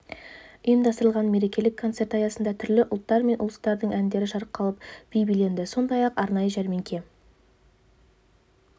ұйымдастырылған мерекелік концерт аясында түрлі ұлттар мен ұлыстардың әндері шырқалып би биленді сондай-ақ арнайы жәрмеңке